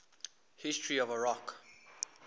history of iraq